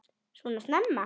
Svona snemma?